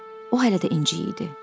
O hələ də inci idi.